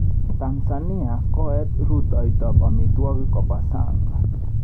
Tanzania kooet rutoitab amitwogik koba Sang.